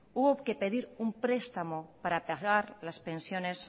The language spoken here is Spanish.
hubo que pedir un prestamos para atajar las pensiones